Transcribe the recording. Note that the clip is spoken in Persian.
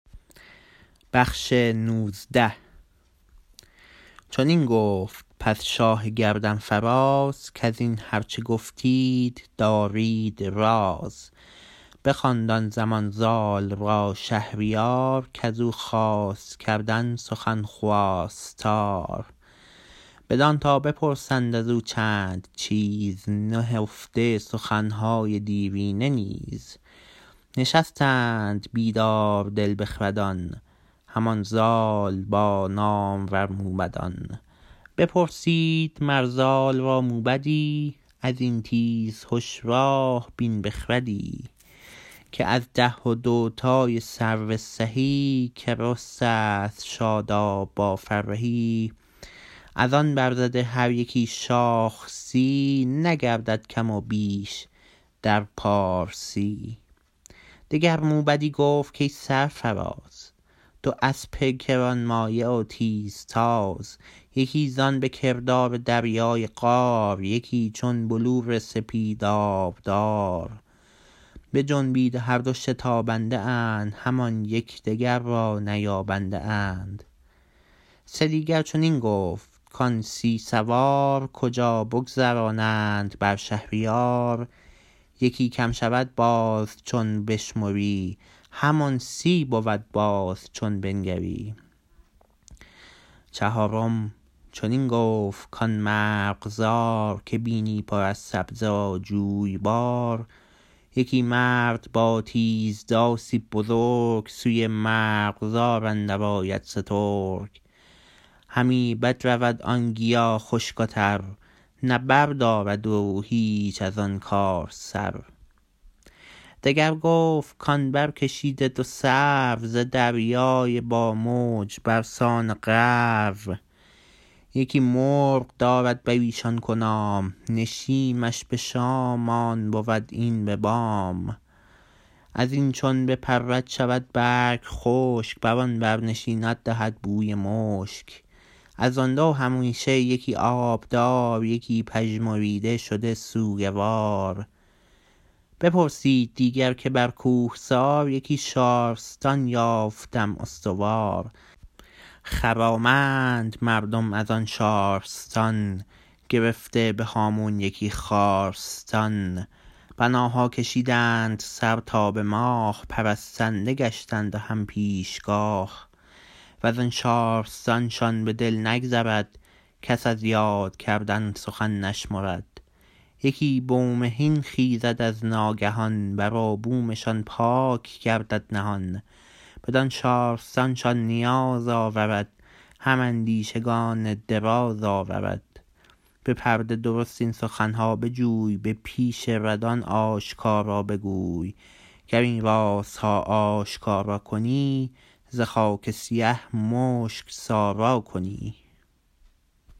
چنین گفت پس شاه گردن فراز کزین هرچه گفتید دارید راز بخواند آن زمان زال را شهریار کزو خواست کردن سخن خواستار بدان تا بپرسند ازو چند چیز نهفته سخنهای دیرینه نیز نشستند بیدار دل بخردان همان زال با نامور موبدان بپرسید مر زال را موبدی ازین تیزهش راه بین بخردی که از ده و دو تای سرو سهی که رسته ست شاداب با فرهی ازآن برزده هر یکی شاخ سی نگردد کم و بیش در پارسی دگر موبدی گفت کای سرفراز دو اسپ گرانمایه و تیزتاز یکی زان به کردار دریای قار یکی چون بلور سپید آبدار بجنبید و هر دو شتابنده اند همان یکدیگر را نیابنده اند سه دیگر چنین گفت کان سی سوار کجا بگذرانند بر شهریار یکی کم شود باز چون بشمری همان سی بود باز چون بنگری چهارم چنین گفت کان مرغزار که بینی پر از سبزه و جویبار یکی مرد با تیز داسی بزرگ سوی مرغزار اندر آید سترگ همی بدرود آن گیا خشک و تر نه بردارد او هیچ ازآن کار سر دگر گفت کان برکشیده دو سرو ز دریای با موج برسان غرو یکی مرغ دارد بریشان کنام نشیمش به شام آن بود این به بام ازین چون بپرد شود برگ خشک برآن بر نشیند دهد بوی مشک ازآن دو همیشه یکی آبدار یکی پژمریده شده سوگوار بپرسید دیگر که بر کوهسار یکی شارستان یافتم استوار خرامند مردم ازان شارستان گرفته به هامون یکی خارستان بناها کشیدند سر تا به ماه پرستنده گشتند و هم پیشگاه وزآن شارستان شان به دل نگذرد کس از یاد کردن سخن نشمرد یکی بومهین خیزد از ناگهان بر و بومشان پاک گردد نهان بدان شارستان شان نیاز آورد هم اندیشگان دراز آورد به پرده درست این سخنها بجوی به پیش ردان آشکارا بگوی گر این رازها آشکارا کنی ز خاک سیه مشک سارا کنی